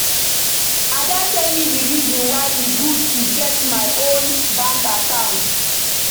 Ada tell me the reason why e good to get my own bank account